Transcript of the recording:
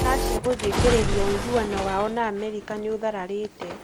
Russia gũthing'ĩrĩria ũiguano wao na Amerika nĩũtharararĩte